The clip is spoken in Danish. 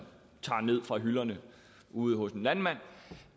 tager ned fra hylderne ude hos en landmand